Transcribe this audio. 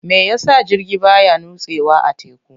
Me yasa jirgi baya nutsewa a teku?